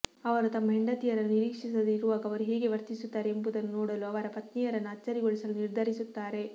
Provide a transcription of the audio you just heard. ಅವರು ತಮ್ಮ ಹೆಂಡತಿಯರನ್ನು ನಿರೀಕ್ಷಿಸದೇ ಇರುವಾಗ ಅವರು ಹೇಗೆ ವರ್ತಿಸುತ್ತಾರೆ ಎಂಬುದನ್ನು ನೋಡಲು ಅವರ ಪತ್ನಿಯರನ್ನು ಅಚ್ಚರಿಗೊಳಿಸಲು ನಿರ್ಧರಿಸುತ್ತಾರೆ